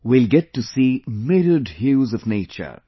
We will get to see myriad hues of nature